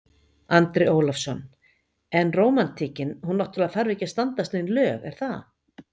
Andri Ólafsson: En rómantíkin hún náttúrulega þarf ekki að standast nein lög er það?